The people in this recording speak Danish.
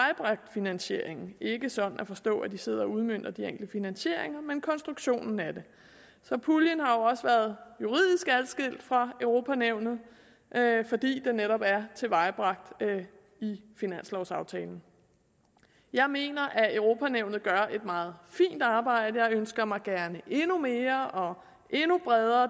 finansieringen ikke sådan at forstå at de sidder og udmønter de enkelte finansieringer men konstruktionen af det så puljen har jo også været juridisk adskilt fra europa nævnet fordi den netop er tilvejebragt i finanslovaftalen jeg mener at europa nævnet gør et meget fint arbejde jeg ønsker mig gerne endnu mere og endnu bredere